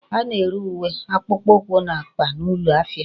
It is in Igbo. A na-ere uwe, akpukpukwu na akpa n'ulo ahia